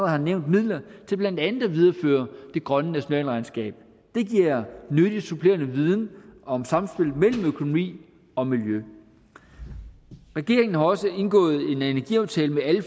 har nævnt midler til blandt andet at videreføre det grønne nationalregnskab det giver nyttig supplerende viden om samspillet mellem økonomi og miljø regeringen har også indgået en energiaftale med alle